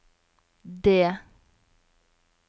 D